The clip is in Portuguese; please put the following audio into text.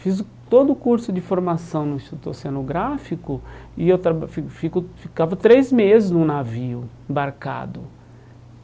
Fiz todo o curso de formação no Instituto Oceanográfico e eu traba fico fico ficava três meses num navio embarcado.